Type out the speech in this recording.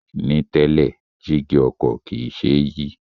Ní tẹ́lẹ̀, jígí ọkọ̀ kìí ṣe é yí